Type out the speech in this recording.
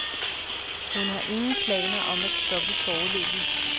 Hun har ingen planer om at stoppe foreløbig.